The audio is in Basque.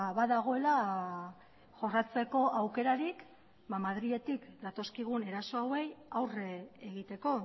badagoela jorratzeko aukerarik madriletik datozkigun eraso hauei aurre egiteko